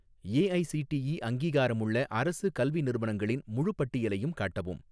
AICTE அங்கீகாரமுள்ள அரசு கல்வி நிறுவனங்களின் முழுப் பட்டியலையும் காட்டவும்